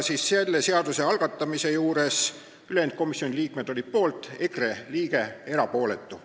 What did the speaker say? Selle seaduseelnõu algatamisel olid ülejäänud komisjoni liikmed poolt, EKRE liige jäi erapooletuks.